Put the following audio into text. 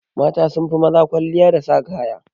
Mata sunfi maza kwalliya da sa kaya.